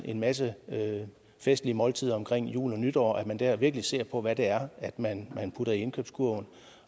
en masse festlige måltider omkring jul og nytår så man der virkelig ser på hvad det er man putter i indkøbskurven